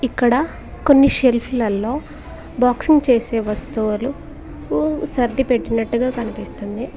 ఇక్కడ కొన్ని సెల్ఫ్ లలో బాక్సింగ్ చేసే వస్తువులు సర్దిపెట్టినట్టుగా కనిపిస్తుంది.